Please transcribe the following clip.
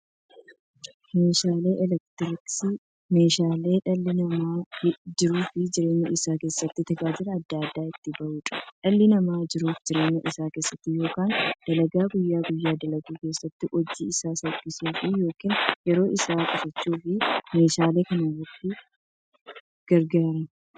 Meeshaaleen elektirooniksii meeshaalee dhalli namaa jiruuf jireenya isaa keessatti, tajaajila adda addaa itti bahuudha. Dhalli namaa jiruuf jireenya isaa keessatti yookiin dalagaa guyyaa guyyaan dalagu keessatti, hojii isaa salphissuuf yookiin yeroo isaa qusachuuf meeshaalee kanatti gargaarama.